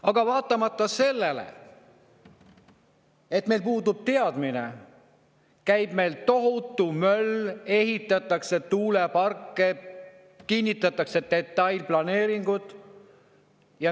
Aga vaatamata sellele, et meil puudub teadmine, käib meil tohutu möll: ehitatakse tuuleparke, kinnitatakse detailplaneeringuid.